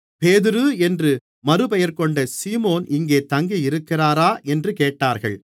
பேதுரு என்று மறுபெயர்கொண்ட சீமோன் இங்கே தங்கியிருக்கிறாரா என்று கேட்டார்கள்